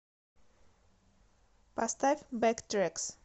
поставь бэктрэкс